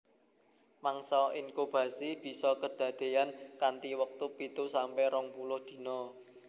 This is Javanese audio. Mangsa inkubasi bisa kedadeyan kanthi wektu pitu sampe rong puluh dina